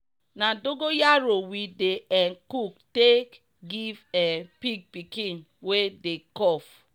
na dogon yaro we dey um cook take giv um pig pikin wey dey cough.